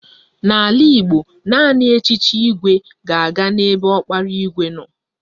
N'ala Igbo, naanị echiche igwe ga-aga n'ebe ọkpara igwe nọ